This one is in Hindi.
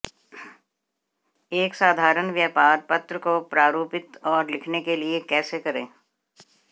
एक साधारण व्यापार पत्र को प्रारूपित और लिखने के लिए कैसे करें